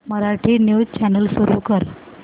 Marathi news channel सुरू कर